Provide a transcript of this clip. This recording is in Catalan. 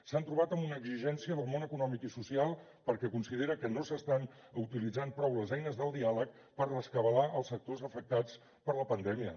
s’han trobat amb una exigència del món econòmic i social perquè considera que no s’estan utilitzant prou les eines del diàleg per rescabalar els sectors afectats per la pandèmia